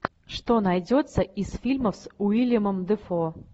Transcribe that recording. что найдется из фильмов с уиллемом дефо